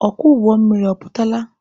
Ọkwọ ụgbọ mmiri ọ pụtala?